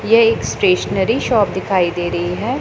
ये एक stationery shop दिखाई दे रही हैं।